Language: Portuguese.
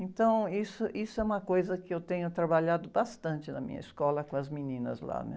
Então, isso, isso é uma coisa que eu tenho trabalhado bastante na minha escola com as meninas lá, né?